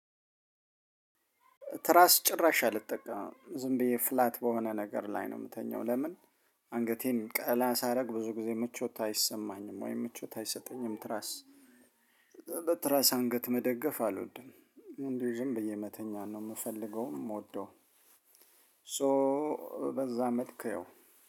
ትራስ ጭራሽ አልጠቀምም ዝምብዬ ፍላት በሆነ ነገር ላይ ነው ሚተኛው ለምን ሀንገቴን ቀላ ሳረግ ብዙ ጊዜ ምቾት አይሰማኝም ወይ ምቾት አይሰጠኝም። ትራስ። ትራስ ሀንገት መደገፍ አልወድም እንድሁ ዝምብዬ መተኛት ነው ምፈልገውም ምወደዉም። ሶ በዛ መልክ ያው